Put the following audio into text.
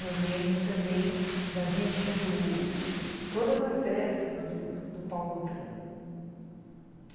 Eu lembro também da gente indo... Todas as peças do Paulo Otran.